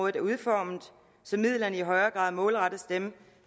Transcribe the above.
er udformet så midlerne i højere grad målrettes dem